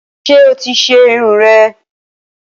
Ṣé o ti ṣe Irun rè?